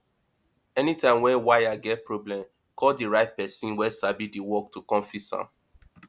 anytime wey wire get problem call di right person wey sabi di work to come fix am